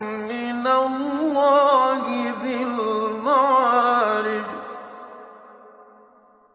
مِّنَ اللَّهِ ذِي الْمَعَارِجِ